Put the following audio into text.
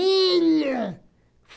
Ilha!